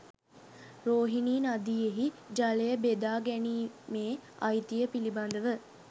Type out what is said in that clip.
රෝහිණී නදියෙහි ජලය බෙදා ගැනීමේ අයිතිය පිළිබඳව